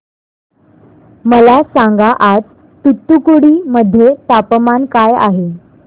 मला सांगा आज तूतुकुडी मध्ये तापमान काय आहे